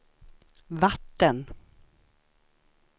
vatten